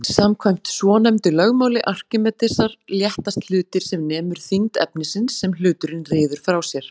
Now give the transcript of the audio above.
Samkvæmt svonefndu lögmáli Arkímedesar léttast hlutir sem nemur þyngd efnisins sem hluturinn ryður frá sér.